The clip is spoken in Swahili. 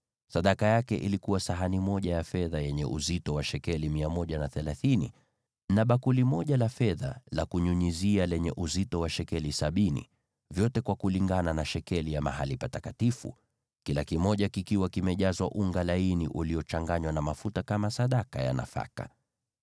Sadaka aliyoleta ilikuwa sahani moja ya fedha yenye uzito wa shekeli 130, na bakuli moja la fedha la kunyunyizia lenye uzito wa shekeli sabini, vyote kulingana na shekeli ya mahali patakatifu, vikiwa vimejazwa unga laini uliochanganywa na mafuta kama sadaka ya nafaka;